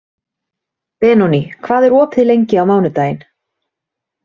Benóný, hvað er opið lengi á mánudaginn?